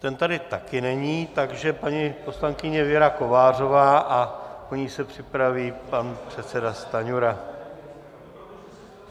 Ten tady také není, takže paní poslankyně Věra Kovářová a po ní se připraví pan předseda Stanjura.